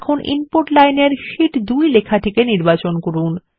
এখন ইনপুট লাইনের শীট 2 লেখাটি নির্বাচন করুন